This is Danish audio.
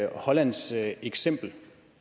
hollands eksempel